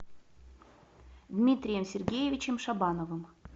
дмитрием сергеевичем шабановым